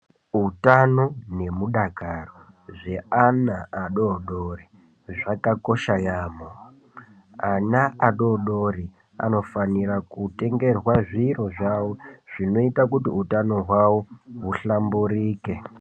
Utano nemudakaro zveana adori dori zvakakosha yaamo. Ana adori dori anofanira kutengerwa zviro zvawo zvinoita kuti utano hwawo huhlamburike.